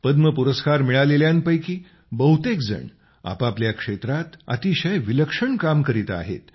पद्म पुरस्कार मिळालेल्यांपैकी बहुतेक जण आपापल्या क्षेत्रात अतिशय विलक्षण काम करीत आहेत